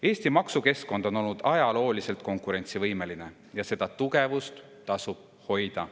Eesti maksukeskkond on olnud ajalooliselt konkurentsivõimeline ja seda tugevust tasub hoida.